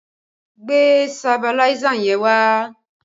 Gbe sabiláísà yẹn wá!